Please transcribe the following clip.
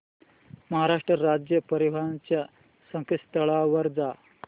महाराष्ट्र राज्य परिवहन च्या संकेतस्थळावर जा